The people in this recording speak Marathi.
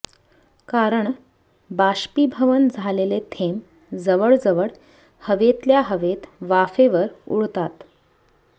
कारण बाष्पीभवन झालेले थेंब जवळजवळ हवेतल्या हवेत वाफेवर उडतात